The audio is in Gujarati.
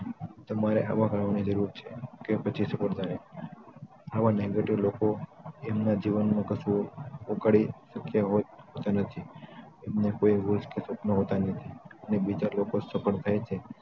તમારે હવા કાઢવાની જરૂર છે કે પછી છોડ દે આ આવા negative લોકો એમના જીવનમાં કશું ઉખાડી શકયા હોત કે નથી તેમના કોઈ હોશ કે સપના હોટ નથી અને બીજા લોકો સફળ થાય તે